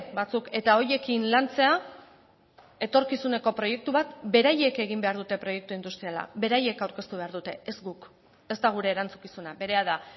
batzuk eta horiekin lantzea etorkizuneko proiektu bat beraiek egin behar dute proiektu industriala beraiek aurkeztu behar dute ez guk ez da gure erantzukizuna berea da